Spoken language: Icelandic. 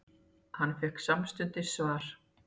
Hann fékk samstundis svar.